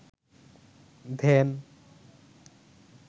ধ্যান